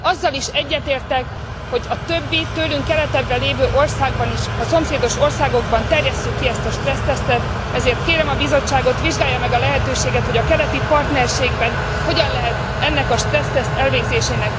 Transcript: Azzal is egyetértek, hogy a többi, tőlünk keletebbre lévő országban is, a szomszédos országokban, terjesszük ki ezt a stressztesztet, ezért kérem a Bizottságot, vizsgálja meg a lehetőséget, hogy a keleti partnerségben hogyan lehet ennek a stresszteszt elvégzésének